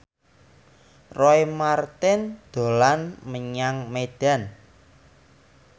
Roy Marten dolan menyang Medan